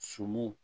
Sunu